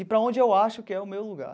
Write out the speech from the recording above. Ir para onde eu acho que é o meu lugar.